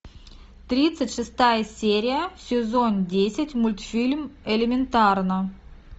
тридцать шестая серия сезон десять мультфильм элементарно